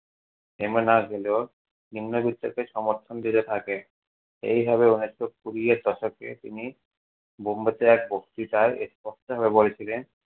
নিম্নবৃত্তকে সমর্থন দিতে থাকে। এইভাবে উনিশশো কুড়ি এর দশকে তিনি বোম্বেতে এক বক্ত্রিতায় স্পষ্টভাবে বলেছিলেন-